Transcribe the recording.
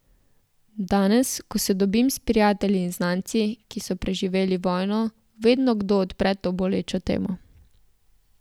Danes, ko se dobim s prijatelji in znanci, ki so preživeli vojno, vedno kdo odpre to bolečo temo.